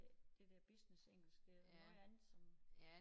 Det det der businessengelsk det noget andet som